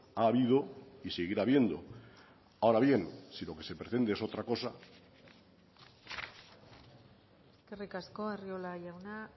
ha habido y seguirá habiendo ahora bien si lo que se pretende es otra cosa eskerrik asko arriola jauna